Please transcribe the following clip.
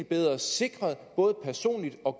bedre sikret både personligt og